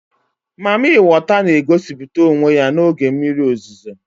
Mami weta n'egosịpụta onwe ya n'oge mmiri ozizo